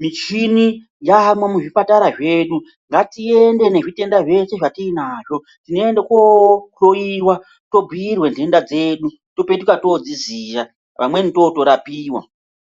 Michini yaamwo muzvipatara zvedu, ngatiende nezvitenda zvese zvatiinazvo tiende kunohloyiwa to huyirwa ndoenda dzedu topetuka todziziya pamweni totorapiwa.